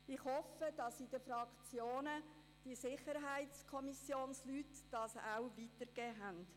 Ich hoffe, dass die Mitglieder der SiK dies in den Fraktionen auch weitergegeben haben.